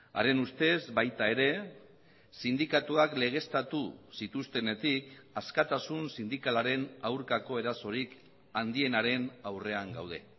haren ustez baita ere sindikatuak legeztatu zituztenetik askatasun sindikalaren aurkako erasorik handienaren aurrean gaude